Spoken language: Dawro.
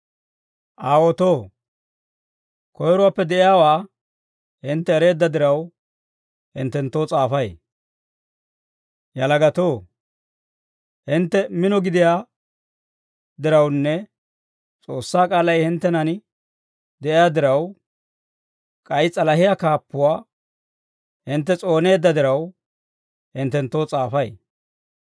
Aawotoo, koyiruwaappe de'iyaawaa hintte ereedda diraw, hinttenttoo s'aafay. Yalagatoo, hintte mino gidiyaa dirawunne S'oossaa k'aalay hinttenan de'iyaa diraw, k'ay s'alahiyaa kaappuwaa hintte s'ooneedda diraw, hinttenttoo s'aafay.